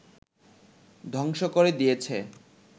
ধ্বংস করে দিয়েছে